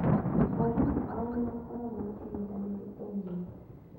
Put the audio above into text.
Arimũ ao nĩ makoragwo na ihinda rĩritũ mũno.